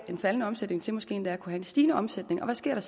en faldende omsætning til måske endda at kunne have en stigende omsætning og hvad sker